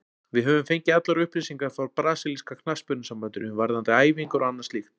Við höfum fengið allar upplýsingar frá brasilíska knattspyrnusambandinu, varðandi æfingar og annað slíkt.